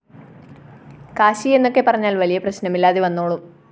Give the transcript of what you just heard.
കാശി എന്നൊക്കെ പറഞ്ഞാല്‍ വലിയ പ്രശ്‌നമില്ലാതെ വന്നോളും